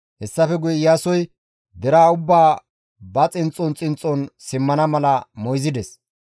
Hessafe guye Iyaasoy deraa ubbaa ba xinxxon xinxxon simmana mala moyzides.